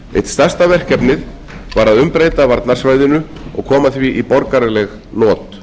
eitt stærsta verkefnið var að umbreyta varnarsvæðinu og koma því í borgaraleg not